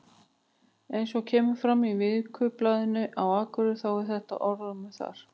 Eins og kemur fram í Vikublaðinu Akureyri þá er þetta orðrómur þar.